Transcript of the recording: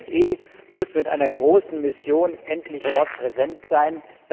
Die OSZE muss mit einer großen Mission endlich dort präsent sein.